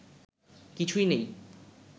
কিছুই নেই